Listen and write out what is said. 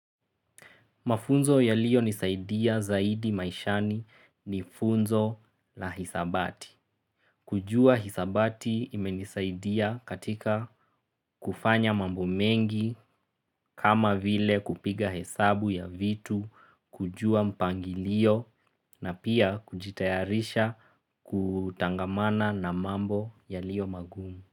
Mafunzo yaliyo nisaidia zaidi maishani ni funzo la hisabati. Kujua hisabati imenisaidia katika kufanya mambo mengi kama vile kupiga hesabu ya vitu, kujua mpangilio na pia kujitayarisha kutangamana na mambo yaliyo magumu.